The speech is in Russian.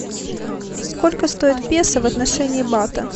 сколько стоит песо в отношении бата